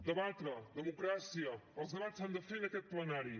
debatre democràcia els debats s’han de fer en aquest plenari